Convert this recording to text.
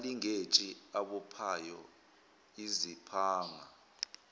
amalinkeji abophayo iziphanga